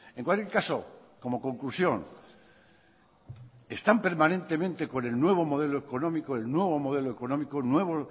en cualquier caso como conclusión están permanentemente con el nuevo modelo económico el nuevo modelo económico el nuevo